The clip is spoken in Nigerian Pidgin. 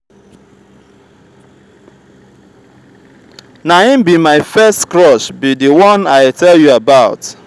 na him be my first crush be the one i tell you about